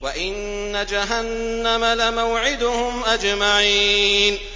وَإِنَّ جَهَنَّمَ لَمَوْعِدُهُمْ أَجْمَعِينَ